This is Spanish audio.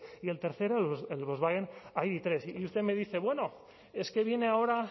y el tercero el volkswagen idhiru y usted me dice bueno es que viene ahora